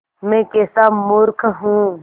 मैं कैसा मूर्ख हूँ